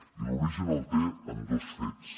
i l’origen el té en dos fets